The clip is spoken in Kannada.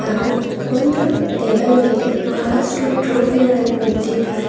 ಹಾಗೂ ಒಂದು ಟೇಬಲ್ ಮೇಲೆ ಬಹಳಷ್ಟು ಟ್ರೋಫಿ ಗಳನ್ನು ಇಟ್ಟಿದ್ದಾರೆ.